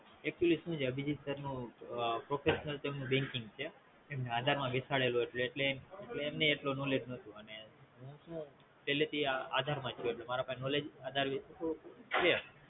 Actually સુ છે બીજી Star નું Professional Trum નું banking છે એમને આધાર માં બેસાડેલો એટલે એમેને ય એટલી Knowledge નોતું પવલથી આધાર માંજ હોય એટલે મારા પાહે Knowledge છે